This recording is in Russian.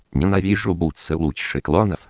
ненавижу бутсы лучше